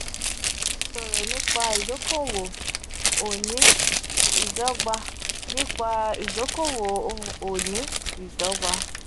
ki a sọ̀rọ̀ nipa idokowo oni idọgba nipa idokowo o oni idọgba